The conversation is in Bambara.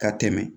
Ka tɛmɛ